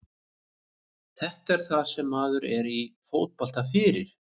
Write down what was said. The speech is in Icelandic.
Þetta er það sem maður er í fótbolta fyrir.